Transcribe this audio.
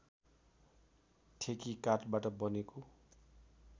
ठेकी काठबाट बनेको